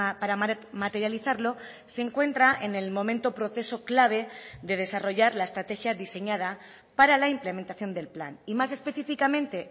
para materializarlo se encuentra en el momento proceso clave de desarrollar la estrategia diseñada para la implementación del plan y más específicamente